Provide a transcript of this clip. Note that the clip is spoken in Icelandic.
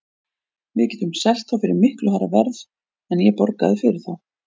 Við getum selt þá fyrir miklu hærra verð en ég borgaði fyrir þá.